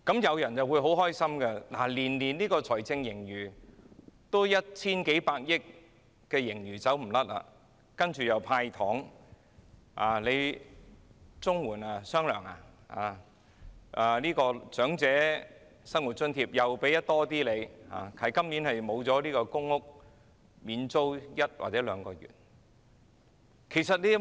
有人感到很開心，因為年年都有一千數百億元盈餘，然後便可"派糖"，綜援可發"雙糧"，長者生活津貼亦有所增加，今年只是欠了公屋免租一或兩個月這項措施而已。